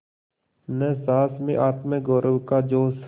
न सास में आत्मगौरव का जोश